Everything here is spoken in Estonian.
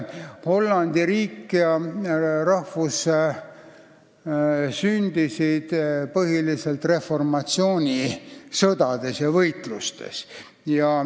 Hollandi riik ja rahvus sündisid reformatsiooniaegsetes sõdades ja võitlustes.